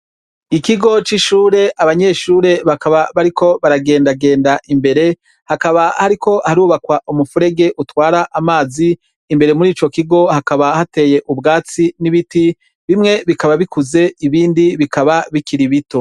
Ikigo c'ishure abanyeshure bakaba bariko baragendagenda imbere hakaba hariko harubakwa umufurege utwara amazi imbere muri ico kigo hakaba hateye ubwatsi n'ibiti bimwe bikaba bikuze ibindi bikaba bikiribito.